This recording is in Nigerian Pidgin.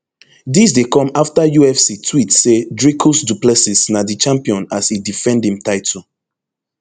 dis dey come afta ufc tweet say dricus du plessis na di champion as e defend im title